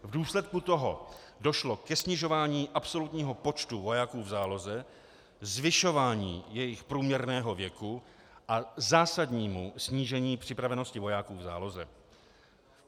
V důsledku toho došlo ke snižování absolutního počtu vojáků v záloze, zvyšování jejich průměrného věku a zásadnímu snížení připravenosti vojáků v záloze.